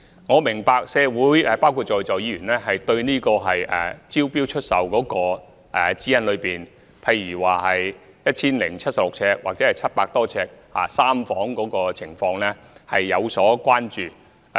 我明白社會——包括在座議員——對招標出售的指引，例如 1,076 平方呎或700多平方呎的3房單位的情況有所關注。